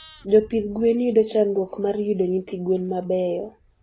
Jopidh gwen yudo chandruok mar yudo nyithi gwen mabeyo